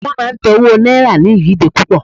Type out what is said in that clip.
wán ma tẹ owó náírà ni ìyíde pupo